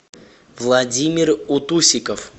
владимир утусиков